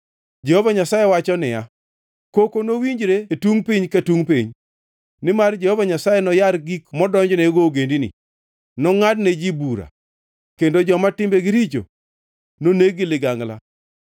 Jehova Nyasaye wacho niya, Koko nowinjre e tungʼ piny ka tungʼ piny, nimar Jehova Nyasaye noyar gik modonjnego ogendini; nongʼadne ji duto bura kendo joma timbegi richo noneg gi ligangla.’ ”